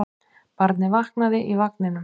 Barnið vaknaði í vagninum.